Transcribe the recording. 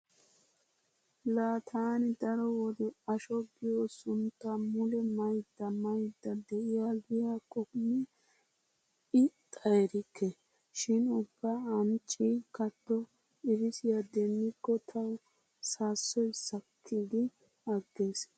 Laa taani daro wode asho giyo sunttaa mule maydda maydda de'aaggiyakkonne ixxa erikke. Shin ubba ancci katto xibisiya demmikko tawu saassoy sakki gi aggees.